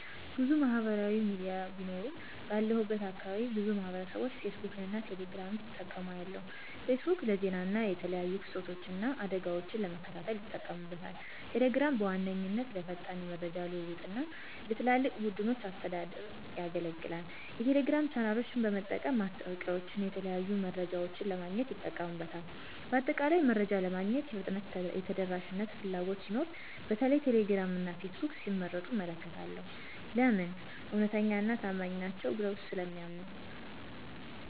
**ብዙ ማህበራዊ ሚዲያ ቢኖሩም፦ ባለሁበት አካባቢ ብዙ ማህበረሰብቦች ፌስቡክን እና ቴሌ ግራምን ሲጠቀሙ አያለሁ፤ * ፌስቡክ: ለዜና እና የተለያዩ ክስተቶችን እና አደጋወችን ለመከታተል ይጠቀሙበታል። * ቴሌግራም: በዋነኛነት ለፈጣን የመረጃ ልውውጥ እና ለትላልቅ ቡድኖች አስተዳደር ያገለግላል። የቴሌግራም ቻናሎችን በመጠቀም ማስታወቂያወችንና የተለያዩ መረጃዎችን ለማግኘት ይጠቀሙበታል። በአጠቃላይ፣ መረጃ ለማግኘት የፍጥነትና የተደራሽነት ፍላጎት ሲኖር በተለይም ቴሌግራም እና ፌስቡክን ሲመርጡ እመለከታለሁ። *ለምን? እውነተኛና ታማኝ ናቸው ብለው ስለሚያምኑ።